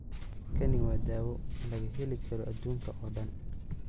Kani waa dawo laga heli karo aduunka oo dhan.